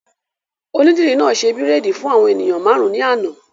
Onídìrí náà ṣe bírèèdì fún àwọn èèyàn máàrún ní àná